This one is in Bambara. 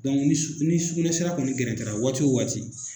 ni sugunɛsira kɔni gɛrɛtɛra waati o waati